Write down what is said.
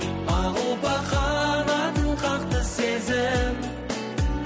ақ ұлпа қанатын қақты сезім